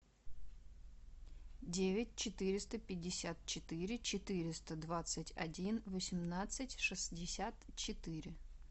девять четыреста пятьдесят четыре четыреста двадцать один восемнадцать шестьдесят четыре